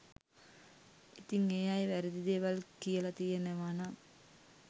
ඉතින් ඒ අය වැරදි දේවල් කියලා තියෙනවනම්